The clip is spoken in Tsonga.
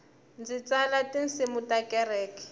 ndzi tsala tinsimu ta kereke